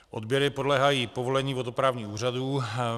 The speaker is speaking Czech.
Odběry podléhají povolení vodoprávních úřadů.